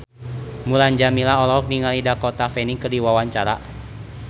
Mulan Jameela olohok ningali Dakota Fanning keur diwawancara